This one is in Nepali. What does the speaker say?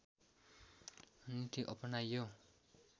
नीति अपनायो